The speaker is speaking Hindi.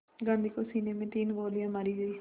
गांधी को सीने में तीन गोलियां मारी गईं